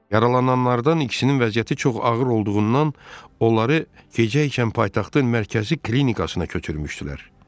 Yaralananlardan ikisinin vəziyyəti çox ağır olduğundan, onları gecəykən paytaxtın mərkəzi klinikasına köçürmüşdülər.